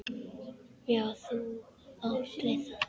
Já, þú átt við það!